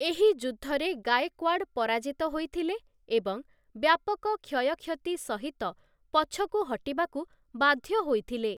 ଏହି ଯୁଦ୍ଧରେ ଗାଏକ୍ୱାଡ଼ ପରାଜିତ ହୋଇଥିଲେ ଏବଂ ବ୍ୟାପକ କ୍ଷୟକ୍ଷତି ସହିତ ପଛକୁ ହଟିବାକୁ ବାଧ୍ୟ ହୋଇଥିଲେ ।